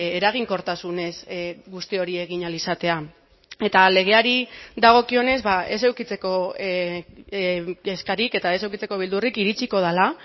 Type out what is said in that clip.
eraginkortasunez guzti hori egin ahal izatea eta legeari dagokionez ez edukitzeko kezkarik eta ez edukitzeko beldurrik iritsiko dela